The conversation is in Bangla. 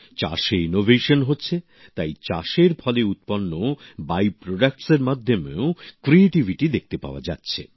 চাষে উদ্ভাবন হচ্ছে তাই চাষের ফলে উৎপন্ন বাইপ্রডাক্টস এর মধ্যেও সৃজনশীলতাও দেখতে পাওয়া যাচ্ছে